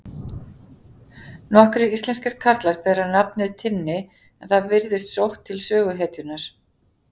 nokkrir íslenskir karlar bera nafnið tinni en það virðist sótt til söguhetjunnar